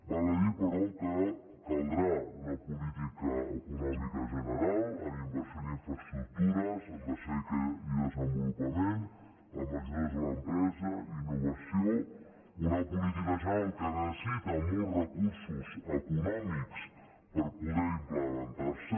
val a dir però que caldrà una política econòmica ge·neral amb inversió en infraestructures en recerca i desenvolupament amb ajudes a l’empresa innovació una política general que necessita molts recursos eco·nòmics per poder implementar·se